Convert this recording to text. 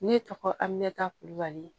Ne tɔgɔ amimɛta kulubali